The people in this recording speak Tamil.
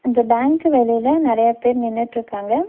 அந்த பேங்க் வெளில நெறையா பேர் நின்னுட்ருக்காங்க.